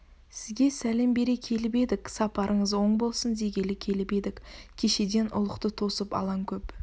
сізге сәлем бере келіп едік сапарыңыз оң болсын дегелі келіп едік кешеден ұлықты тосып алаң көп